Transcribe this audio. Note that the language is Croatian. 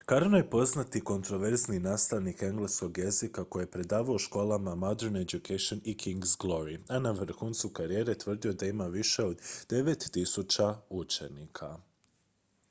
karno je poznati kontroverzni nastavnik engleskog jezika koji je predavao u školama modern education i king's glory a na vrhuncu karijere tvrdio je da ima više od 9.000 učenika